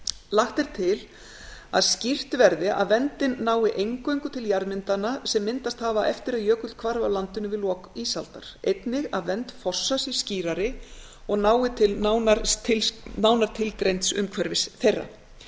lagt er til að skýrt verði að verndin nái eingöngu til jarðmyndana sem myndast hafa eftir að jökull hvarf af landinu við lok ísaldar einnig að vernd fossa sé skýrari og nái til nánar tilgreinds umhverfis þeirra hið